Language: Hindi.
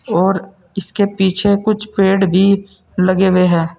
और इसके पीछे कुछ पेड़ भी लगे हुए है।